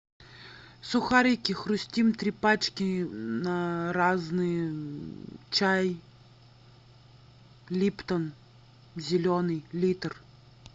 сухарики хрустим три пачки разные чай липтон зеленый литр